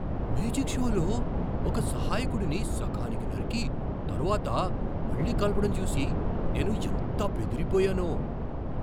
Magic షోలో ఒక సహాయకుడిని సగానికి నరికి, తరువాత మళ్ళీ కలపడం చూసి నేను ఎంత బెదిరిపోయానో.